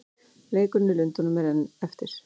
Leikurinn í Lundúnum er enn eftir.